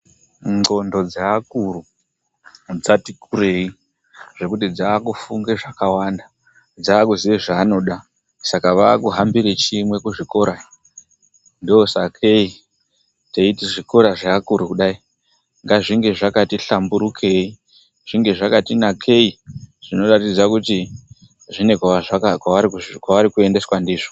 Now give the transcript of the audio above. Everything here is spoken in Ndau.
Ndxondo dzeakuru dzati kurei. Zvekuti dzakufunge zvakawanda. Dzakuziye zvavanoda saka vakuhambire chimwe kuzvikora. Ndosakei teiti zvikora zveakuru kudai ngazvinge zvakati hlamburukei, zvinge zvakati nakei zvinoratidze kuti kune kwavari kuendeswa ndizvo.